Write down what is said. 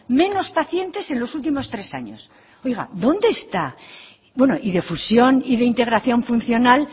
menos pacientes en los últimos tres años oiga dónde está bueno y de fusión y de integración funcional